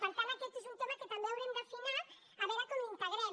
per tant aquest és un tema que també haurem d’afinar a veure com l’integrem